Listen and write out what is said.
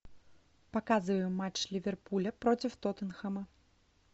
показывай матч ливерпуля против тоттенхэма